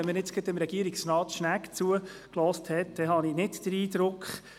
Gerade, wenn man jetzt Regierungsrat Schnegg zugehört hat, dann habe ich nicht den Eindruck.